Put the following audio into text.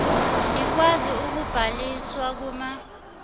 nikwazi ukubhaliswa kuma